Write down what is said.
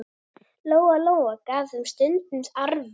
Lóa-Lóa gaf þeim stundum arfa.